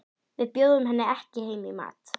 Við bjóðum henni ekki heim í mat.